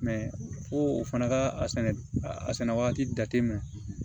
fo o fana ka a sɛnɛ a sɛnɛ wagati jate minɛ